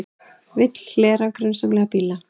Vill hlera grunsamlega bíla